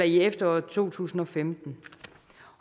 i efteråret to tusind og femten